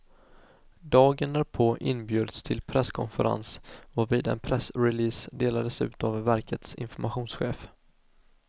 Dagen därpå inbjöds till presskonferens varvid en pressrelease delades ut av verkets informationschef.